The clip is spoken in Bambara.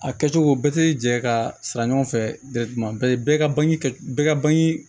A kɛcogo bɛɛ tɛ jɛ ka sara ɲɔgɔn fɛ bɛɛ ka ban bɛɛ ka bangi